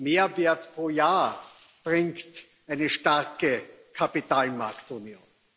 Mehrwert pro Jahr bringt eine starke Kapitalmarktunion.